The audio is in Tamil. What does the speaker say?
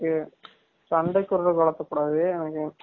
எனக்கு சண்டைக்கு விட்ரது வலத்த கூடாது எனக்கு